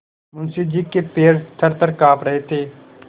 मुंशी जी के पैर थरथर कॉँप रहे थे